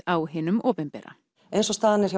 á hinum opinbera eins og staðan er